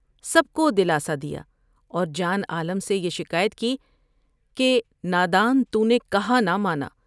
سب کو دلاسا دیا اور جان عالم سے یہ شکایت کی کہ تا دان تو نے کہا نہ مانا ۔